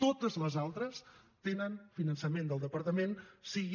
totes les altres tenen finançament del departament sigui